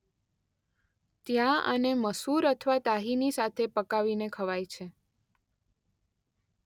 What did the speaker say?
ત્યાં આને મસૂર અથવા તાહીની સાથે પકાવીને ખવાય છે.